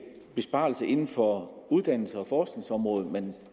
besparelser inden for uddannelses og forskningsområdet man